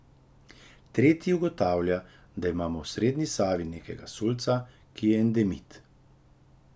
Tretji ugotavlja, da imamo v srednji Savi nekega sulca, ki je endemit.